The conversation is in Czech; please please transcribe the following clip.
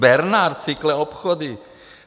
Bernard Cycle obchody?